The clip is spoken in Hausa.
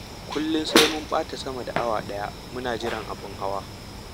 kullum sai mun ɓata sama da awa ɗaya muna jiran abu hawa.